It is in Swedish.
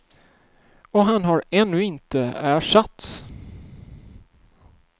Och han har ännu inte ersatts.